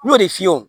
N y'o de f'i ye